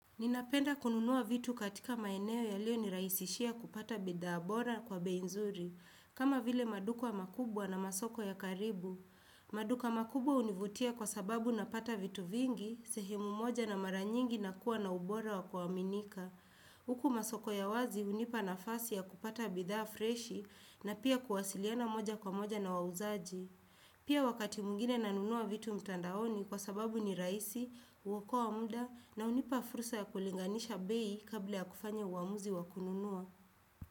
Ninapenda kununuwa vitu katika maeneo yalio nirahisishia kupata bidha bora kwa bei nzuri, kama vile maduka makubwa na masoko ya karibu. Maduka makubwa hunivutia kwasababu napata vitu vingi, sehemu moja na maranyingi na kuwa na ubora wa kuwaaminika. Huku masoko ya wazi hunipa nafasi ya kupata bidhaa freshi, na pia kuwasiliana moja kwa moja na wauzaji. Pia wakati mwingine nanunua vitu mtandaoni kwa sababu ni rahisi, huokoa muda na hunipa furusa ya kulinganisha bei kabla ya kufanya uamuzi wakununua.